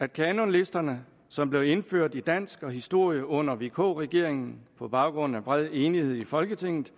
at kanonlisterne som blev indført i dansk og historie under vk regeringen på baggrund af bred enighed i folketinget